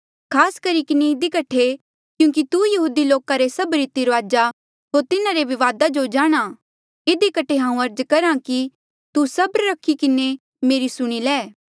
खास करी किन्हें इधी कठे क्यूंकि तू यहूदी लोका रे सभ रीति रूआजा होर तिन्हारे विवादा जो जाणहां ऐें इधी कठे हांऊँ अर्ज करहा कि तू सब्रा रखी किन्हें मेरी सुणी ले